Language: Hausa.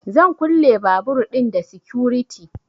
Zan kulle babur ɗin da sikuriti